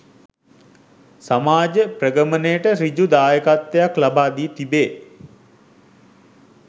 සමාජ ප්‍රගමනයට සෘජු දායකත්වයක් ලබා දී තිබේ.